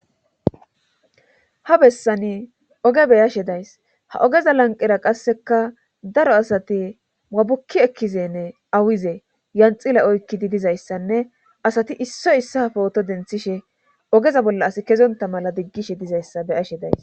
ha bessani oge beyashe days ha ogeza lanqera qasseka daro asati wabukki ekkizenne awize yanxile oykkidi dizayssanne asati issoy issa pooto denthishe ogeza bolla as kezonta mala diggishe dizayssa beyashe days